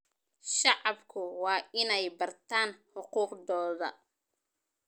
Shacabku waa inay bartaan xuquuqdooda.